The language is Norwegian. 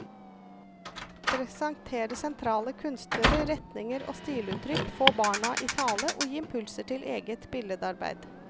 Presentere sentrale kunstnere, retninger og stiluttrykk, få barna i tale og gi impulser til eget billedarbeid.